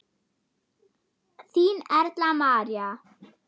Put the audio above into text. Þín Erla María.